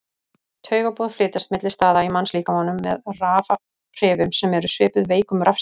Taugaboð flytjast milli staða í mannslíkamanum með rafhrifum sem eru svipuð veikum rafstraumi.